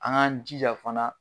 An k'an jija fana.